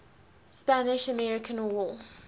spanish american war